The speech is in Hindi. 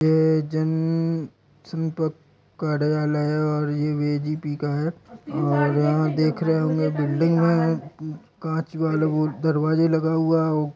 यह जन संपर्क कार्यालय और यह बी_जे_पि का है और यह देख रहे होंगे बिल्डिंग में कांच वाला वो दरवाजा लगा हुआ है।